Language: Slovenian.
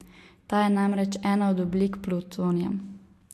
Ta je namreč ena od oblik plutonija.